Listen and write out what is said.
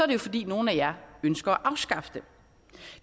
det jo fordi nogle af jer ønsker at afskaffe dem